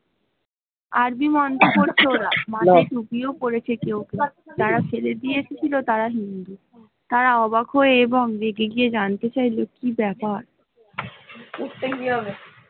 আজই মাথায় টুপীও পরেছে কেউ কেউ তারা যারা ফেলে দিয়ে এসেছিল তারা হিন্দু তারা ওকাব হয়ে এবং রেগে গিয়ে জানতে চাইল কি ব্যাপার।